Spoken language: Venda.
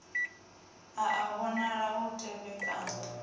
a a vhonala u tevhekana